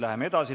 Läheme edasi.